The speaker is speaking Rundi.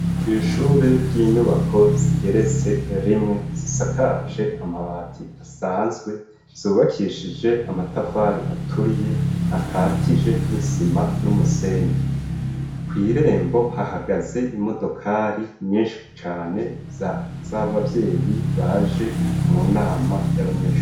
Kw'ishure ry'inyubako zigeretse rimwe zisakaje amabati asanzwe zubakishije amatafari aturiye akatije n'isima n'umusenyi kw'irembo hahagaze imodokari nyinshi cane z'abavyeyi baje mu nama ma ry'abanyensha.